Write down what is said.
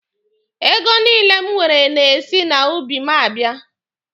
Ego niile m nwere na-esi n'ubi m abịa.